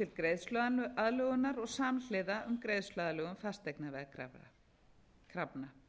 til greiðsluaðlögunar og samhliða um greiðsluaðlögun fasteignaveðkrafna þar